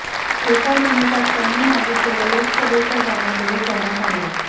एका मिनिटात त्यांनी मागितलेल्या लोकसभेच्या जागा देऊ करण्यात आल्या